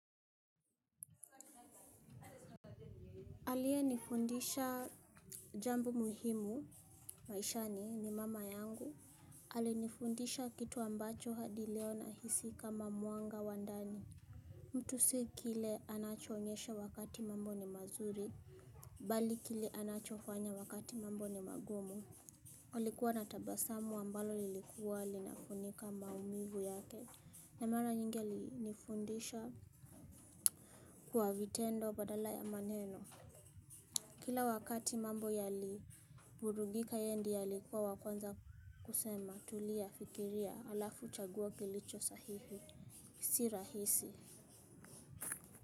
Aliyenifundisha jambo muhimu maishani ni mama yangu, alinifundisha kitu ambacho hadi leo nahisi kama mwanga wa ndani. Mtu si kile anachoonyesha wakati mambo ni mazuri, bali kile anachofanya wakati mambo ni magumu. Alikuwa na tabasamu ambalo lilikuwa linafunika maumivu yake. Na mara nyingi alinifundisha kwa vitendo badala ya maneno. Kila wakati mambo yaliburudika yeye ndiye alikuwa wa kwanza kusema tulia, fikiria, alafu chagua kilicho sahihi si rahisi.